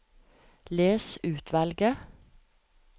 Les utvalget